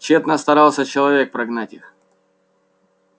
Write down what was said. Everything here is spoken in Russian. тщетно старался человек прогнать их